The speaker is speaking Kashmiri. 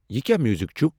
یِہ کیا میوزک چُھ ؟